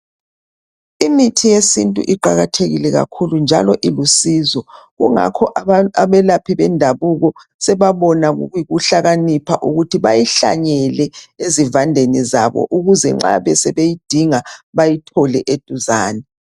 Imithi yesintu iqakathekile kakhulu njalo ilusizo kungakho abelaphi bendabuko sebabona kuyikuhlakanipha ukuthi bayihlanyele ezivandeni zabo ukuze nxa sebeyidinga bayithole eduzane.